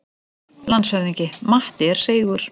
LANDSHÖFÐINGI: Matti er seigur.